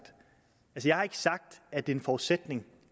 at det er en forudsætning